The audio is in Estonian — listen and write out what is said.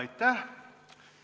Aitäh!